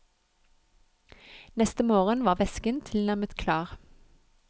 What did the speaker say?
Neste morgen var væsken tilnærmet klar.